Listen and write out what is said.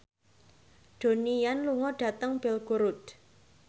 Donnie Yan lunga dhateng Belgorod